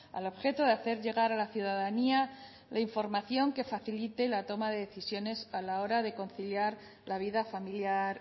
al objeto de hacer llegar a la ciudadanía la información que facilite la toma de decisiones a la hora de conciliar la vida familiar